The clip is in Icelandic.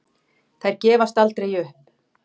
Þær gefast aldrei upp.